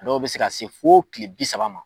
A dɔw bɛ se ka se fo tile bi saba ma.